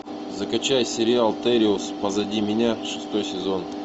закачай сериал териус позади меня шестой сезон